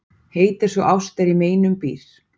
Heit er sú ást er í meinum býr.